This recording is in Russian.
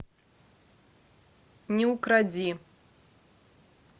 не укради